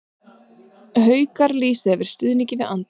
Haukar lýsa yfir stuðningi við Andra